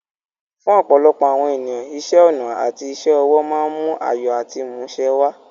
Fún ọ̀pọ̀lọpọ̀ àwọn ènìyàn, iṣẹ́ ọnà àti iṣẹ́ ọwọ́ máa ń mú ayọ̀ àti ìmúṣẹ wá.